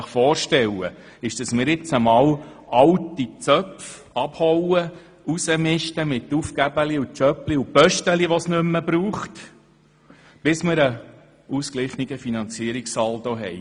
Ich stelle mir nun vor, dass wir jetzt einmal alte Zöpfe abschneiden und die verschiedenen Jöbchen und Ämtchen ausmisten, die es nicht mehr braucht, bis wir einen ausgeglichenen Finanzierungssaldo haben.